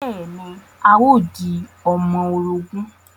Bẹ́ẹ̀ ni, a o di ọmọ orogún